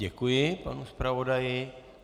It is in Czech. Děkuji panu zpravodaji.